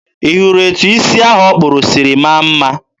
ị hụrụ etụ isi ahụ ọ kpụrụ siri maa mma?